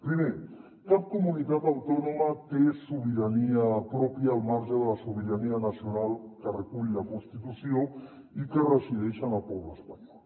primer cap comunitat autònoma té sobirania pròpia al marge de la sobi·rania nacional que recull la constitució i que resideix en el poble espanyol